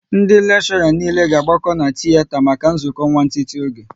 Ndị lekshora niile ga agbako n'tiyeta maka nzukọ nwantiti oge